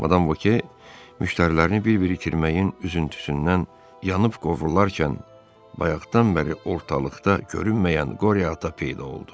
Madam Vokye müştərilərini bir-bir itirməyin üzüntüsündən yanıb qovrularkən, bayaqdan bəri ortalıqda görünməyən Qorya Ata peyda oldu.